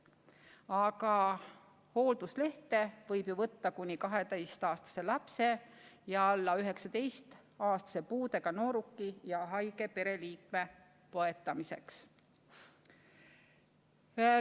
Aga hoolduslehte võib võtta kuni 12-aastase lapse ja alla 19-aastase puudega nooruki, samuti muu haige pereliikme põetamiseks.